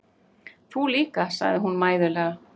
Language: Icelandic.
Þú líka, segir hún mæðulega.